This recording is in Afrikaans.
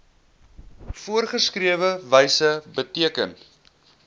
voorgeskrewe wyse beteken